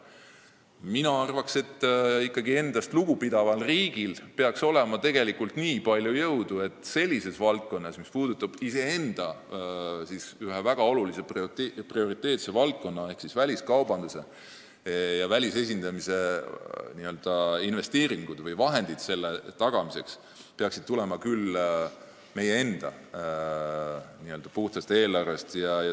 Mina arvan, et meil kui endast lugu pidaval riigil peaks ikkagi olema nii palju jõudu, et sellises prioriteetses valdkonnas nagu väliskaubandus ja enda esindamine välismaal tuleksid investeeringud või vahendid selle tagamiseks meie enda n-ö puhtast eelarvest.